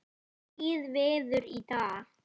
Dregið verður í dag.